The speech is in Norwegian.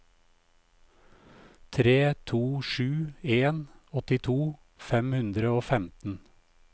tre to sju en åttito fem hundre og femten